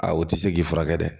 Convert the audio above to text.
A u ti se k'i furakɛ dɛ